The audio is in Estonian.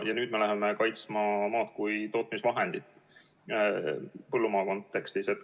Ja nüüd me läheme kaitsma maad kui tootmisvahendit põllumaa kontekstis.